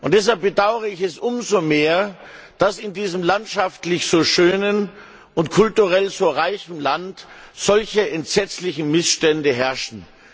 Deshalb bedaure ich es umso mehr, dass in diesem landschaftlich so schönen und kulturell so reichen Land solche entsetzlichen Missstände herrschen.